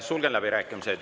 Sulgen läbirääkimised.